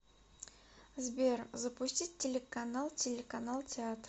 сбер запустить телеканал телеканал театр